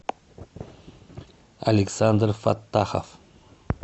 александр фаттахов